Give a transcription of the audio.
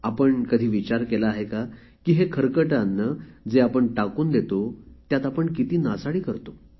आपण कधी विचार केला आहे का की हे खरकटे अन्न जे आपण टाकून देतो त्यात आपण किती नासाडी करतो